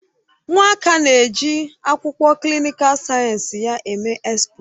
Nwaka na-eji akwụkwọ klịnịkal sayensị ya eme expo.